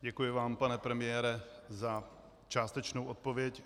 Děkuji vám, pane premiére, za částečnou odpověď.